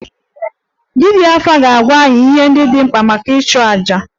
Dibia afa ga-agwa anyị ihe ndị dị mkpa maka ịchụ aja